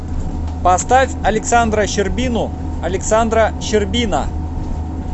поставь александра щербину александра щербина